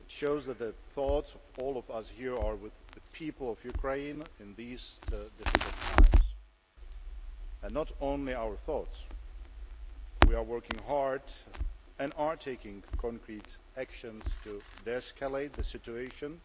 It shows that the thoughts of all of us here are with the people of Ukraine in these difficult times and not only our thoughts, for we are working hard and taking concrete action to de escalate the situation